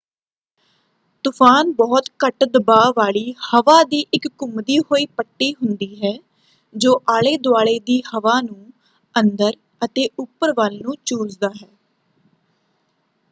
ਤੁਫ਼ਾਨ ਬਹੁਤ ਘੱਟ ਦਬਾਅ ਵਾਲੀ ਹਵਾ ਦੀ ਇੱਕ ਘੁੰਮਦੀ ਹੋਈ ਪੱਟੀ ਹੁੰਦੀ ਹੈ ਜੋ ਆਲੇ ਦੁਆਲੇ ਦੀ ਹਵਾ ਨੂੰ ਅੰਦਰ ਅਤੇ ਉੱਪਰ ਵੱਲ ਨੂੰ ਚੂਸਦਾ ਹੈ।